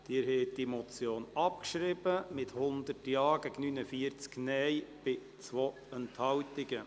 Sie haben die Motion abgeschrieben, mit 100 Ja-, 49 Nein-Stimmen und 2 Enthaltungen.